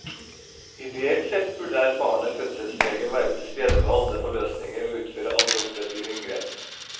Ideelt sett burde erfarne fødselsleger være til stede ved alle forløsninger og utføre alle operative inngrep.